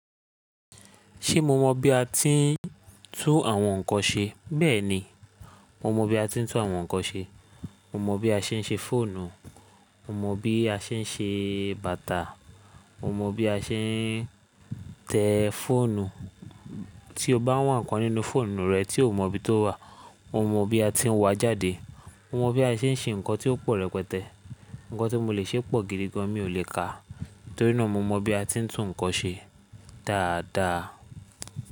Ṣé mó mọ bí a ti ń tún àwọn nǹkan ṣe? Bẹ́ẹ̀ni, mó mọ bí a ti ń tún àwọn nǹkan ṣe. Mó mọ bí a ṣe ń ṣe fóònù, mó mọ bí a ṣe ń ṣe bàtà, mó mọ bí a ṣe ń tẹ fóònù. Tí o bá wá ǹkan nínú fóònù rẹ tí o kò mọ bí tó wà, mó mọ bí a ti ń wá jáde. Mó mọ bí a ṣe ń ṣe nǹkan tí ó pò rẹpẹtẹ. Nǹkan tí mo lè ṣe pò gidi gan, mi ò lè kà á, torí náà mo mọ bí a ti ń tún nǹkan ṣe dáadáa.